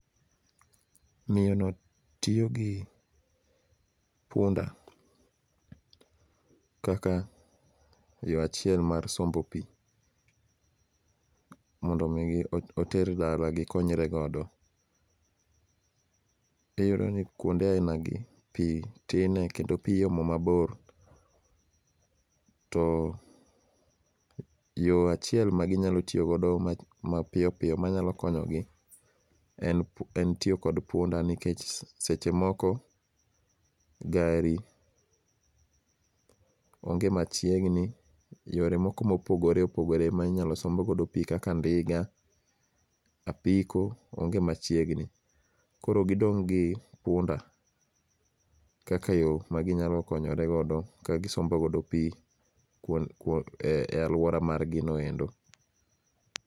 Miyono tiyo gi punda kaka yo achiel mar sombo pi mondo omi oter dala gikonyre godo. Iyudo ni kuonde ainagi pi tine kendo pi iomo mabor to yo achiel ma ginyalo tiyogodo mapiyo piyo manyalo konyogi en tiyo kod punda nikech seche moko gari onge machiegni, yore moko mopogore opogore ma inyalo sombgo pi kaka ndiga, apiko, onge machiegni koro gidong' gi punda kaka yo maginyalo konyoregodo ka gisombogodo pi e alwora margino endo.